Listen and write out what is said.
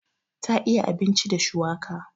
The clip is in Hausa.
Ta iya abinci da shuwaka.